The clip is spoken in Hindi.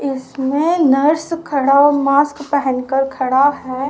इसमें नर्स खड़ा हुआ मस्का पहनकर खड़ा है।